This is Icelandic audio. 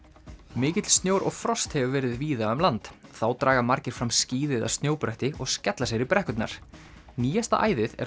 mikill snjór og frost hefur verið víða um land þá draga margir fram skíði eða snjóbretti og skella sér í brekkurnar nýjasta æðið er